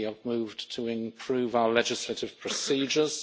We have moved to improve our legislative procedures.